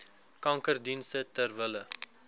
kankerdienste ter wille